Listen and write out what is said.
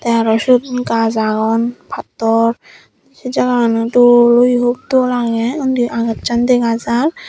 te aro siyot gach agon pattor sey jaganot dol uri hup dol agey undi agacchan dega jar.